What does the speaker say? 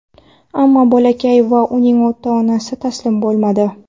Ammo bolakay va uning ota-onasi taslim bo‘lmadi.